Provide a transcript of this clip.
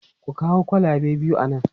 Ku kawo kwalabe biyu a nan!